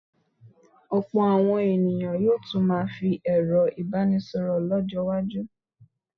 Ọ̀pọ̀ àwọn ènìyàn yóò tún máa fi ẹ̀rọ ìbánisọ̀rọ̀ lọ́jọ́-iwájú.